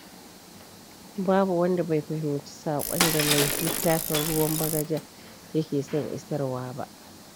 Babu wanda bai fahimci saƙon da mai littafin Ruwan Bagaja yake son isarwa ba.